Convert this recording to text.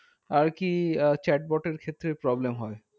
আর কি chat bot এর ক্ষেত্রে problem হয়।